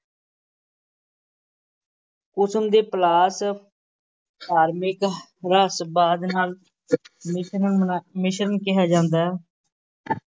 ਕੁਸਮ ਤੇ ਪਲਾਸ ਧਾਰਮਿਕ ਰਹੱਸਵਾਦ ਮਿਸ਼ਰਨ ਮਿਸ਼ਰਨ ਕਿਹਾ ਜਾਂਦਾ